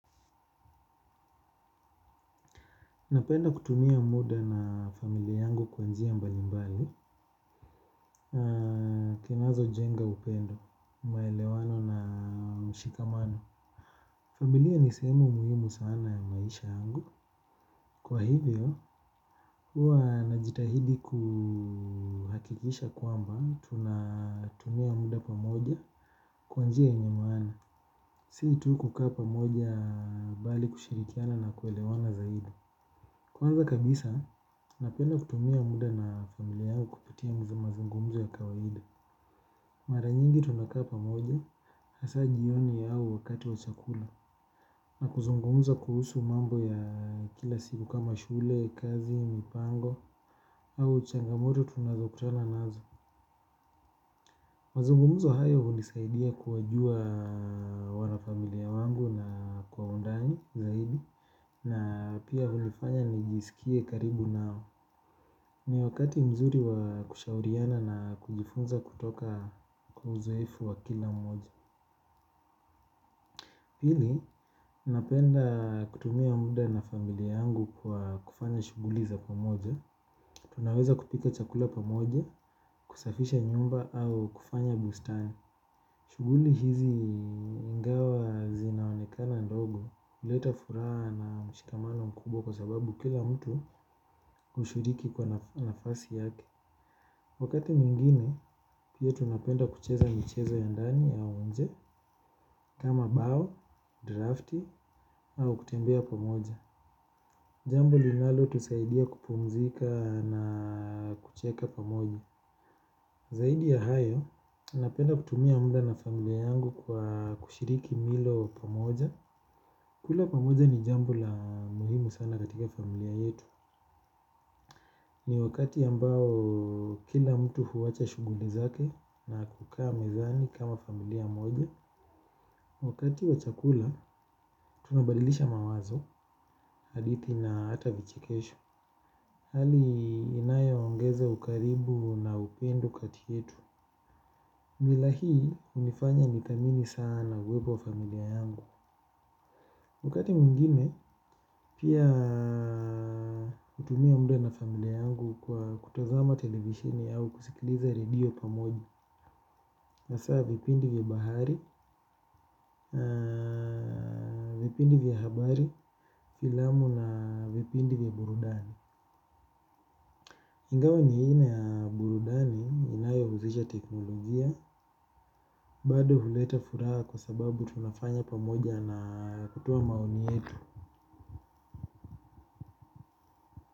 Napenda kutumia muda na familia yangu kwanjia mbali mbali, kinazo jenga upendo, maelewano na mshikamano. Familia nisemu muhimu sana ya maisha yangu. Kwa hivyo, huwa najitahidi kuhakikisha kwamba tunatumia muda pamoja kwanjia enye maana. Si tu kuka pamoja bali kushirikiana na kuelewana zaidi. Kwanza kabisa, napenda kutumia muda na familia yao kupitia mazumazungumzo ya kawaida. Maranyingi tunakaa pamoja, hasa jioni yao wakati wa chakula. Na kuzungumza kuhusu mambo ya kila siku kama shule, kazi, mpango, au changamoto tunazo kutana nazo. Mazungumzo hayo hunisaidia kuwajua wana familia wangu na kwa undani zaidi, na pia hunifanya nijisikie karibu nao. Ni wakati mzuri wa kushauriana na kujifunza kutoka kuzoefu wa kila mmoja. Pili, napenda kutumia muda na familia yangu kwa kufanya shuguli za pamoja. Tunaweza kupika chakula pamoja, kusafisha nyumba au kufanya bustani. Shuguli hizi ingawa zinaonekana ndogo uleta fura na mshikamano mkubwa kwa sababu kila mtu hushiriki kwa nafasi yake. Wakati mwngine, pia tunapenda kucheza michezo ya ndani au nje, kama bao, drafti, au kutembea pamoja. Jambo linalotusaidia kupumzika na kucheka pamoja. Zaidi ya hayo, napenda kutumia muda na familia yangu kwa kushiriki milo pamoja. Kula pamoja ni jambo la muhimu sana katika familia yetu. Ni wakati ambao kila mtu huacha shughuli zake na kukaa mezani kama familia moja. Wakati wa chakula tunabadilisha mawazo, hadithi, na hata vichekesho. Hali inayoongeza ukaribu na upendo kati yetu. Mila hii hunifanya nithamini sana uwepo wa familia yangu. Wakati meingine pia hutumia muda na familia yangu kwa kutazama televisioni au kusikiliza radio pamoja. Hasaa vipindi vya bahari, vipindi vya habari, filamu na vipindi vya burudani. Ingawa ni aina ya burudani inayohusisha teknolojia bado huleta furaha kwa sababu tunafanya pamoja na kutoa maoni yetu.